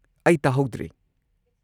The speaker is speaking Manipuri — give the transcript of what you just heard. ꯑꯩ ꯇꯥꯍꯧꯗ꯭ꯔꯦ꯫